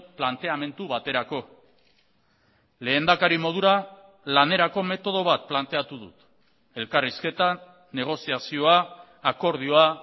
planteamendu baterako lehendakari modura lanerako metodo bat planteatu dut elkarrizketa negoziazioa akordioa